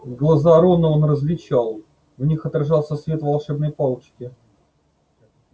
глаза рона он различал в них отражался свет волшебной палочки